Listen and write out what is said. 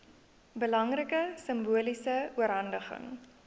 belangrike simboliese oorhandiging